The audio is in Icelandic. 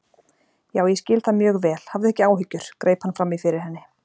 Já, ég skil það mjög vel, hafðu ekki áhyggjur- greip hann fram í fyrir henni.